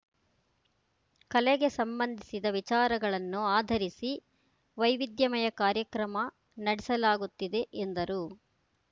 ಕಲೆಗೆ ಸಂಬಂಧಿಸಿದ ವಿಚಾರಗಳನ್ನು ಆಧರಿಸಿ ವೈವಿಧ್ಯಮಯ ಕಾರ್ಯಕ್ರಮ ನಡೆಸಲಾಗುತ್ತಿದೆ ಎಂದರು